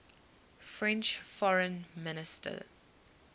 french foreign minister